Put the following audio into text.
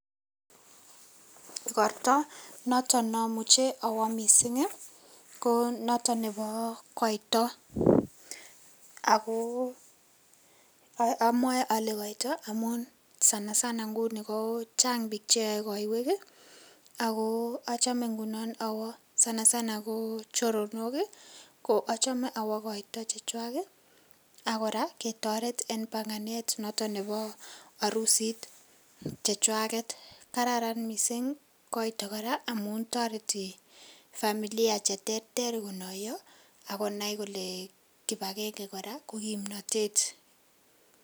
Igortaa notoon ne amuchei awaah missing ii ko notoon nebo kaito, ago amwae kole koita amuun sanasana nguni ko chaang biik che yae kaiweek ii ago achame ngunoon awooh sanasana ko choronok ii ko achame awooh koitaa che chaang ii ak kora ketaret eng panganet notoon nebo arusiit che chwageet , kararan missing koito kora amuun taretii familia che terter konayaa ako kibagengei kora ko kimnatet.